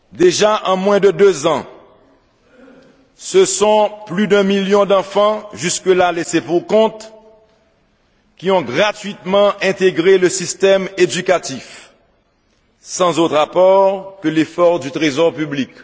Déjà, en moins de deux ans, ce sont plus d'un million d'enfants, jusque là laissés pour compte, qui ont gratuitement intégré le système éducatif sans autre apport que l'effort du Trésor public.